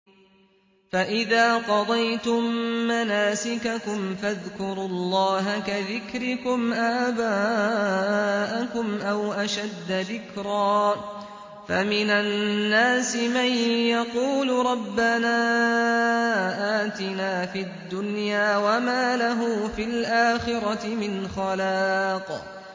فَإِذَا قَضَيْتُم مَّنَاسِكَكُمْ فَاذْكُرُوا اللَّهَ كَذِكْرِكُمْ آبَاءَكُمْ أَوْ أَشَدَّ ذِكْرًا ۗ فَمِنَ النَّاسِ مَن يَقُولُ رَبَّنَا آتِنَا فِي الدُّنْيَا وَمَا لَهُ فِي الْآخِرَةِ مِنْ خَلَاقٍ